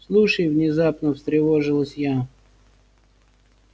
слушай внезапно встревожилась я